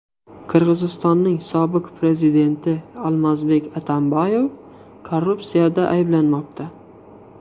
Qirg‘izistonning sobiq prezidenti Almazbek Atambayev korrupsiyada ayblanmoqda.